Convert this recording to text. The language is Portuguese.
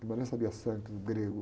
Guimarães sabia sânscrito, grego...